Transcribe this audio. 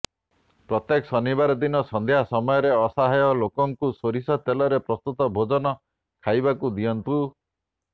ପ୍ରତ୍ୟେକ ଶନିବାର ଦିନ ସନ୍ଧ୍ୟା ସମୟରେ ଅସହାୟ ଲୋକଙ୍କୁ ସୋରିଷ ତେଲରେ ପ୍ରସ୍ତୁତ ଭୋଜନ ଖାଇବାକୁ ଦିଅନ୍ତୁ